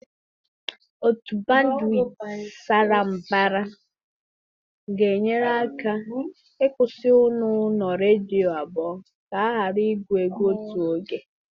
Otu bandwit sara mbara ga-enyere aka ịkwụsị ụlọ ọrụ redio abụọ ka ha ghara igwu egwu n'otu oge.